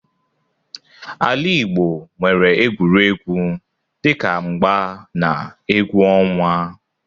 Ala Igbo nwere egwuregwu dị ka mgba na egwu ọnwa.